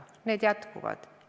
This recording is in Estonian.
Kohtuvaidlused jätkuvad.